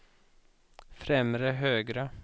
främre högra